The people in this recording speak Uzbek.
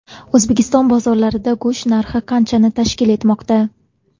O‘zbekiston bozorlarida go‘sht narxi qanchani tashkil etmoqda?.